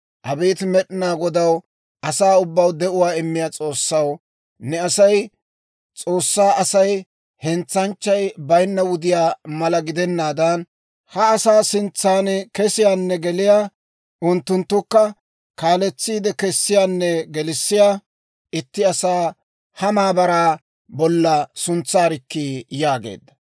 «Abeet Med'inaa Godaw, asaa ubbaw de'uwaa immiyaa S'oossaw, ne asay, S'oossaa Asay hentsanchchay bayinna wudiyaa mala gidennaadan, ha asaa sintsan kesiyaanne geliyaa, unttunttukka kaaletsiide kessiyaanne gelissiyaa, itti asaa ha maabaraa bolla suntsaarkkii» yaageedda.